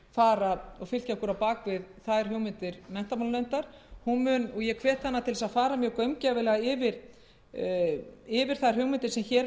sjálfsögðu fylkja okkur á bak við þær ég hvet háttvirtan menntamálanefnd til að fara mjög gaumgæfilega yfir þær hugmyndir sem hér